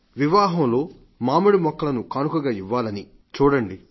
వావాహంలో మామిడి మొక్కలను కానుకగా ఇవ్వాలని చూడండి